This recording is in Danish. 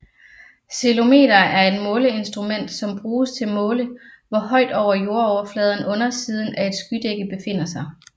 Ceilometer er et måleinstrument som bruges til måle hvor højt over jordoverfladen undersiden af et skydække befinder sig